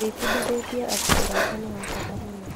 Ndĩbundithĩtie atĩ ũrata nĩ wa bata mũno.